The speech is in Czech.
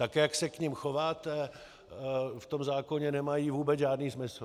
Tak jak se k nim chováte, v tom zákoně nemají vůbec žádný smysl.